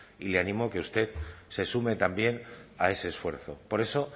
y le animo a que usted se sume también a ese esfuerzo por eso